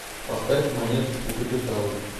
поставь монеточку капитал